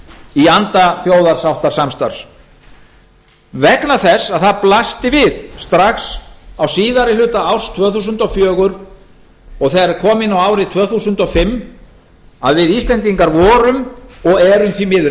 í anda þjóðarsáttarsamstarfs vegna þess að það blasti við strax á síðari hluta árs tvö þúsund og fjögur og þegar kom inn á árið tvö þúsund og fimm að við íslendingar vorum og erum því miður